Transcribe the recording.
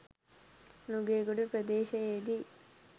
Nugegoda ප්‍රදේශයේදී